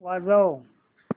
वाजव